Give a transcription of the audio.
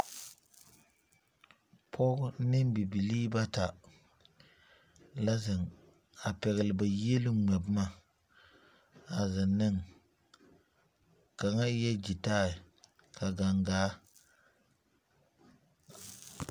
Pɔgɔ ne bibilii bata la zeŋ a pɛgli ba yieluŋ ŋmɛ boma a zeŋ neŋ. Kanga eɛ gyitae, ka gangaa